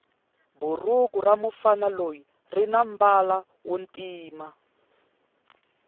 bhuruku ramufana loyi rinambala wontima